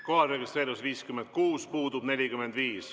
Kohalolijaks registreerus 56 Riigikogu liiget, puudub 45.